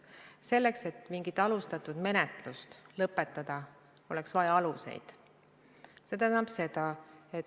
Selleks, et mingi alustatud menetlus lõpetada, oleks vaja alust.